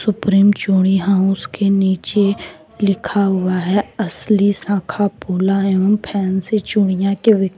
supreme चूड़ी house के नीचे लिखा हुआ है असली शाखा पोला एवं फैन्सी चूड़ियां--